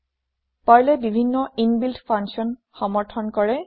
Perlয়ে বিভিন্ন inbuilt function সমৰ্থন কৰে